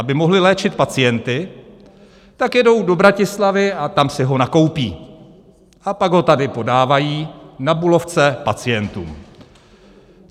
Aby mohli léčit pacienty, tak jedou do Bratislavy a tam si ho nakoupí, a pak ho tady podávají na Bulovce pacientům.